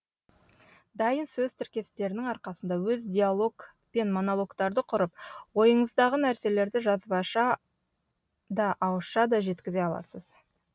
дайын сөз тіркестерінің арқасында өз диалог пен монологтарды құрып ойыңыздағы нәрселерді жазбаша да ауызша да жеткізе аласыз